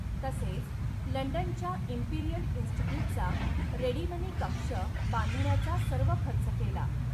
तसेच लंडनच्या इम्पिरीयल इन्स्टिट्यूटचा 'रेडिमनी कक्ष' बांधण्याचा सर्व खर्च केला.